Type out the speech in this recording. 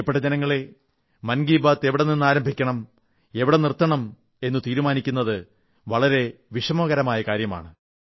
പ്രിയപ്പെട്ട ജനങ്ങളേ മൻ കീ ബാത് എവിടെനിന്നാരംഭിക്കണം എവിടെ നിർത്തണം എന്നു തീരുമാനിക്കുന്നത് വളരെ വിഷമകരമായ കാര്യമാണ്